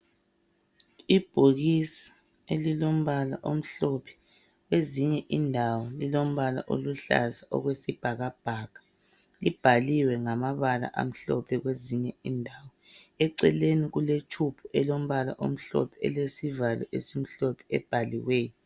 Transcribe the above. Ibhokisi elilombala omhlophe. Kwezinye indawo lilmbala oluhlaza okwesibhakabhaka. Libhaliwe ngamabala amhlophe kwezinye indawo. Eceleni kuletshubhu elombala omhlophe, elesivalo esimhlophe, ebhaliweyo.